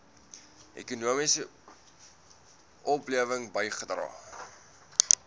ekonomiese oplewing bygedra